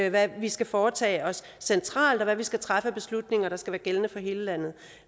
og hvad vi skal foretage os centralt og hvad vi skal træffe af beslutninger der skal være gældende for hele landet